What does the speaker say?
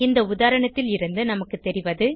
இந்த உதாரணத்திலிருந்து நமக்கு தெரிவது